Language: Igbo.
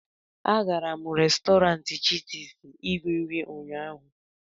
agara m Restọrantị chitis iri nri ụnyaahụ